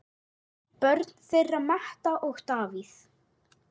Börn þeirra Metta og Davíð.